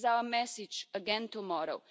This is our message again tomorrow.